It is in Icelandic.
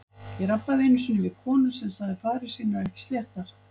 Ég rabbaði einu sinni við konu sem sagði farir sínar ekki sléttar.